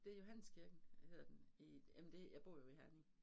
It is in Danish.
Det Johanneskirken hedder den i jamen det jeg bor jo i Herning